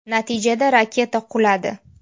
Natijada raketa quladi.